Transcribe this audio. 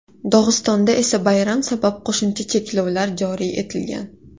Dog‘istonda esa bayram sabab qo‘shimcha cheklovlar joriy etilgan.